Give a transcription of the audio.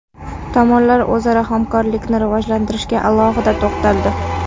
Tomonlar o‘zaro hamkorlikni rivojlantirishga alohida to‘xtaldi.